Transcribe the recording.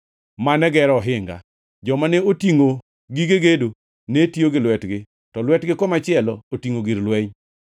mane gero ohinga. Joma ne otingʼo gige gedo ne tiyo gi lwetgi, to lwetgi komachielo otingʼo gir lweny,